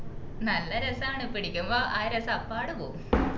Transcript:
നല്ല രസാണ് പിടിക്കുമ്പോ അഹ് രസം അപ്പാടും പോവും